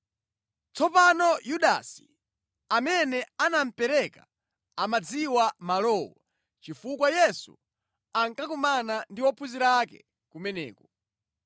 Tsopano Yudasi, amene anamupereka amadziwa malowo chifukwa Yesu ankakumana ndi ophunzira ake kumeneko.